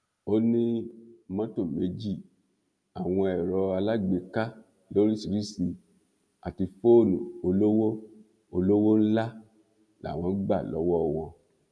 ó ní mọtò méjì àwọn ẹrọ alágbèéká lóríṣìíríṣìí àti fóònù olówó olówó ńlá làwọn gbà lọwọ wọn